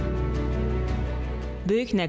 Burda ağıllı şəhər konsepsiyası tətbiq olunacaq.